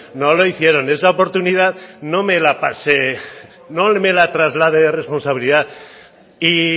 no lo hicieron esa oportunidad no me la pase no me la traslade de responsabilidad y